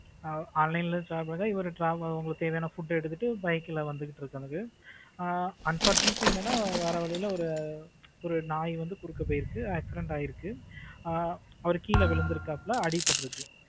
online ல சாப்பாடு இவரு இவருக்கு தேவையான food எடுத்துட்டு ஒரு bike ல வந்துட்டு இருக்காரு unfortunately என்னன்னா வர்ற வழியில ஒரு அஹ் ஒரு நாய் வந்து குறுக்க போயிருச்சு accident ஆயிருக்கு அஹ் அவரு கீழே விழுந்து இருக்காப்ல அடிபட்டு இருக்கு.